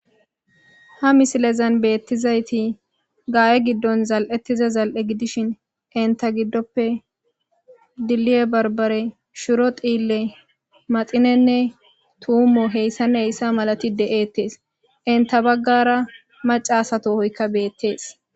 ha misilezan beettizayti gaa7e giddon zal7ettiza zal7e gidishin inta giddoppe dilli7e barbare shiro xiille maxinenne tuumo heyssan heyssa malati de7eettees inta baggara macasato hoykka beettees